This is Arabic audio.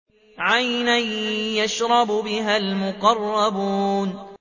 عَيْنًا يَشْرَبُ بِهَا الْمُقَرَّبُونَ